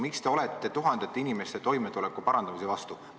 Miks te olete tuhandete inimeste toimetuleku parandamise vastu?